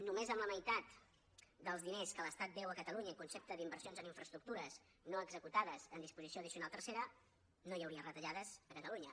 només amb la meitat dels diners que l’estat deu a catalunya en concepte d’inversions en infraestructures no executades en disposició addicional tercera no hi hauria retallades a catalunya